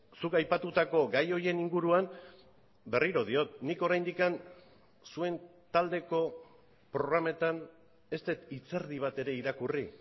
zuk aipatutako gai horien inguruan berriro diot nik oraindik zuen taldeko programetan ez dut hitz erdi bat ere irakurri